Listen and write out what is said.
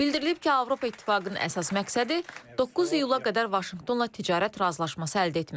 Bildirilib ki, Avropa İttifaqının əsas məqsədi 9 iyula qədər Vaşinqtonla ticarət razılaşması əldə etməkdir.